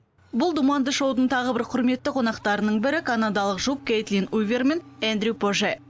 бұл думанды шоудың тағы бір құрметті қонақтарының бірі канадалық жұп кейтлин уивер мен эндрю поже